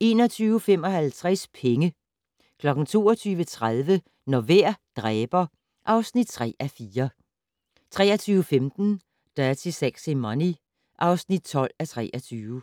21:55: Penge 22:30: Når vejr dræber (3:4) 23:15: Dirty Sexy Money (12:23)